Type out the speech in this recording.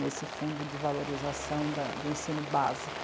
Nesse fundo de valorização da, do ensino básico.